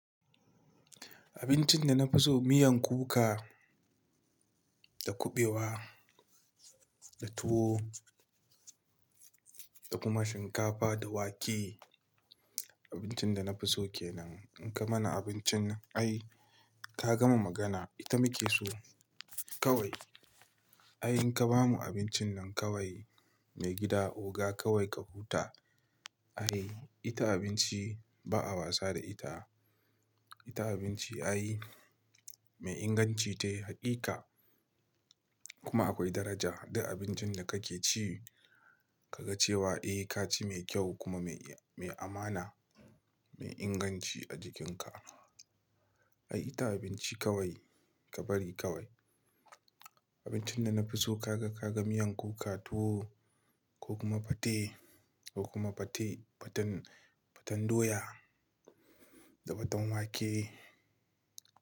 Abincin da na fi so miyan kuka da kuɓewa, da tuwo da kuma shinkafa da wake. Abincin da na fi so ke nan. In ka mana abincin ai ka gama magana ita muke so kawai. Ai in ka bamu abincin nan kawai mai gida oga kawai ka huta. Ai ita abinci ba a wasa da ita. Ita abinci ai mai inganci ce hakika kuma akwai daraja. Da abincin da kake ci kaga cewa eh ka ci mai kyau kuma mai, mai amana, mai inganci a jikinka. Ai ita abinci kawai ka bari kawai. Abincin da na fi so ka ga, ka ga miyan kuka, tuwo ko kuma fate, ko kuma fate, faten, faten doya da faten wake.